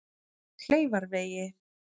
Kleifarvegi